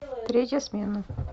третья смена